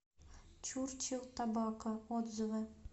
чурчил табако отзывы